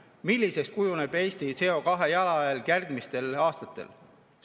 Milliseks kujuneb Eesti CO2-jalajälg järgmistel aastatel?